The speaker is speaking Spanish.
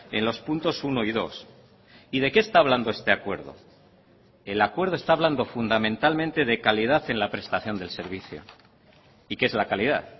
en los puntos uno y dos y de qué está hablando este acuerdo el acuerdo está hablando fundamentalmente de calidad en la prestación del servicio y qué es la calidad